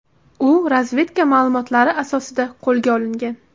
U razvedka ma’lumotlari asosida qo‘lga olingan.